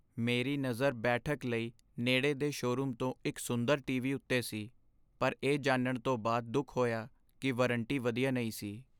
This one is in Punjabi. ਮੇਰੀ ਨਜ਼ਰ ਬੈਠਕ ਲਈ ਨੇੜੇ ਦੇ ਸ਼ੋਅਰੂਮ ਤੋਂ ਇੱਕ ਸੁੰਦਰ ਟੀ.ਵੀ. ਉੱਤੇ ਸੀ ਪਰ ਇਹ ਜਾਣਨ ਤੋਂ ਬਾਅਦ ਦੁਖ ਹੋਇਆ ਕਿ ਵਾਰੰਟੀ ਵਧੀਆ ਨਹੀਂ ਸੀ।